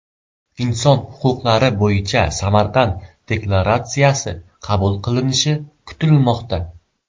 Inson huquqlari bo‘yicha Samarqand deklaratsiyasi qabul qilinishi kutilmoqda.